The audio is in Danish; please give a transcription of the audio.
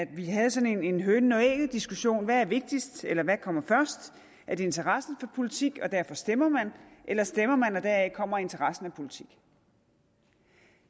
vi havde sådan en hønen og ægget diskussion hvad kommer først er det interessen for politik og derfor stemmer man eller stemmer man og deraf kommer interessen for politik